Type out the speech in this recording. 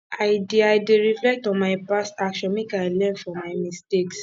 i dey i dey reflect on my past actions make i learn from my mistakes